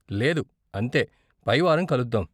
లేదు, అంతే, పై వారం కలుద్దాం.